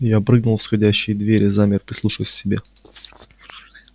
я прыгнул в сходящися двери замер прислушиваясь к себе